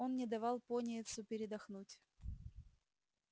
он не давал пониетсу передохнуть